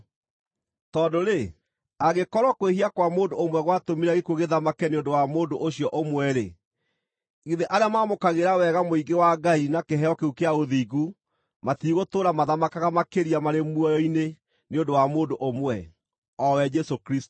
Tondũ-rĩ, angĩkorwo kwĩhia kwa mũndũ ũmwe gwatũmire gĩkuũ gĩthamake nĩ ũndũ wa mũndũ ũcio ũmwe-rĩ, githĩ arĩa maamũkagĩra wega mũingĩ wa Ngai na kĩheo kĩu kĩa ũthingu matigũtũũra mathamakaga makĩria marĩ muoyo-inĩ nĩ ũndũ wa mũndũ ũmwe, o we Jesũ Kristũ!